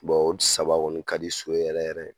olu saba kɔni ka di so ye yɛrɛ yɛrɛ.